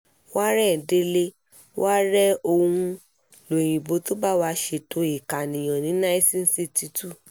warren délé wa rèé òun lóyinbó tó bá wá ṣètò ìkànìyàn ní nineten sixty two